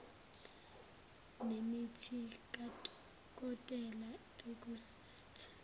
nemithi kadokotela akusathi